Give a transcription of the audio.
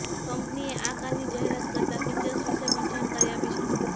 કંપનીએ આ કારની જાહેરાત કરતા તેના ફિચર્સ વિશે પણ જાણકારી આપી છે